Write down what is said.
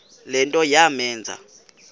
le nto yamenza